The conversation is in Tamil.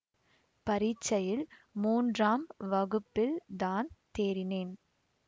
பரீட்சையில் மூன்றாம் வகுப்பில் தான் தேறினேன்